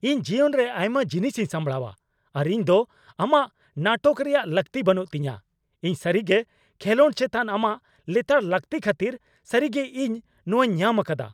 ᱤᱧ ᱡᱤᱭᱚᱱ ᱨᱮ ᱟᱭᱢᱟ ᱡᱤᱱᱤᱥ ᱤᱧ ᱥᱟᱢᱲᱟᱣᱟ ᱟᱨ ᱤᱧ ᱫᱚ ᱟᱢᱟᱜ ᱱᱟᱴᱚᱠ ᱨᱮᱭᱟᱜ ᱞᱟᱠᱛᱤ ᱵᱟᱹᱱᱩᱜ ᱛᱤᱧᱟᱹ ᱾ ᱤᱧ ᱥᱟᱹᱨᱤᱜᱮ ᱠᱷᱮᱞᱚᱸᱰ ᱪᱮᱛᱟᱱ ᱟᱢᱟᱜ ᱞᱮᱛᱟᱲ ᱞᱟᱹᱠᱛᱤ ᱠᱷᱟᱹᱛᱤᱨ ᱥᱟᱹᱨᱤᱜᱮ ᱤᱧ ᱱᱚᱣᱟᱧ ᱧᱟᱢ ᱟᱠᱟᱫᱟ ᱾